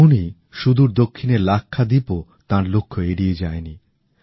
তেমনই সুদূর দক্ষিণের লাক্ষাদ্বীপ ও তাঁর লক্ষ্য এড়িয়ে যায়নি